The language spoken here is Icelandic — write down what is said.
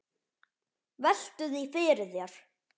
Veltu því fyrir þér.